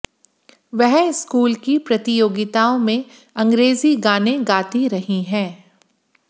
वह स्कूल की प्रतियोगिताओं में अंग्रेजी गाने गाती रही हैं